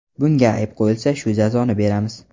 Bunga ayb qo‘yilsa shu jazoni beramiz.